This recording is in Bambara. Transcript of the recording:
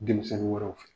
Denmisɛnnin wɛrɛw fɛ